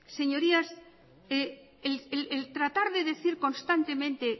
señorías el tratar de decir constantemente